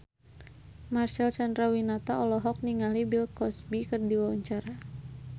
Marcel Chandrawinata olohok ningali Bill Cosby keur diwawancara